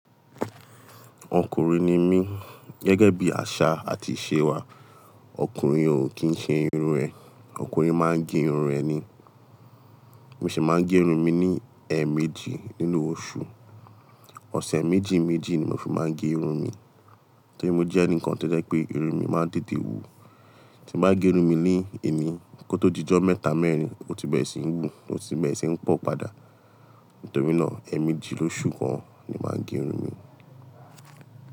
Ọkùnrin ni mí, gẹ́gẹ́ bí àṣà àti ìṣe wa, ọkùnrin ò kí ń ṣe irun rẹ̀, ọkùnrin máa ń gẹ irun rẹ̀ ni. Mo sì máa ń gẹ irun mi ní ẹméjì nínú oṣù. Ọ̀sẹ̀ méjì méjì ni mo fi máa ń gẹ irun mi, nítorí mo jẹ́ ẹnìkan tí ó jẹ́ pé irun mi máa ń tetè wù. Tí n bá gẹ irun mi ní òní kó tó dijọ mẹ́ta mẹ́rin, ó ti bẹ̀rẹ̀ sí ń wu, ó ti bẹ̀rẹ̀ sí ń pọ̀ padà. Nítorí náà ẹ méjì lóṣù kan ni máa gẹ irun mi.